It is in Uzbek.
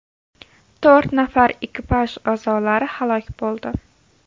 To‘rt nafar ekipaj a’zolari halok bo‘ldi.